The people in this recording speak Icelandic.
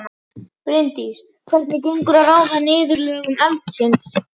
Bryndís: Hvernig gengur að ráða niðurlögum eldsins?